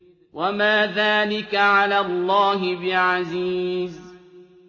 وَمَا ذَٰلِكَ عَلَى اللَّهِ بِعَزِيزٍ